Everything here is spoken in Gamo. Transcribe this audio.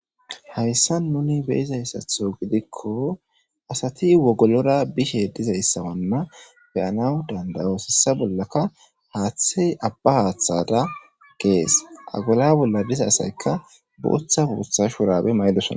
hayssa nuni beyizayssatho gidikko asati wogolora bishe dizayssanna beyana danda'oyos.hessa bollaka haaththey abba haaththada gees agola bolla diza asaykka booththa bootha shurabe mayidosana.